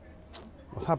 það bara